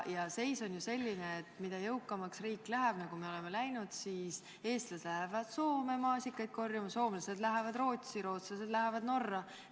Seis on ju selline, et kui riik läheb jõukamaks, siis, nagu me oleme näinud, eestlased lähevad Soome maasikaid korjama, soomlased lähevad Rootsi, rootslased lähevad Norra.